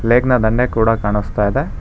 Light ನಾ ದಂಡೆ ಕೂಡ ಕಾಣಿಸ್ತಾ ಇದೆ.